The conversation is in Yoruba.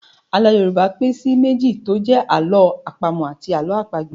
Àlọ́ Yorùbá pín sí méjì tí ó jẹ́ Àlọ́ àpamọ̀ àti Àlọ́ àpagbè